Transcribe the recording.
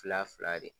Fila fila de